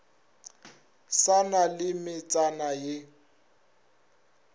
sa na le metsana ye